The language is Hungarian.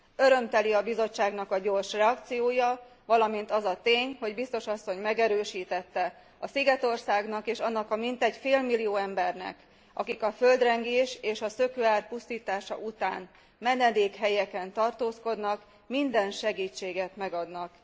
Örömteli a Bizottságnak a gyors reakciója, valamint az a tény, hogy biztos asszony megerősítette, a szigetországnak és annak a mintegy félmillió embernek, akik a földrengés és a szökőár pusztítása után menedékhelyeken tartózkodnak, minden segítséget megadnak.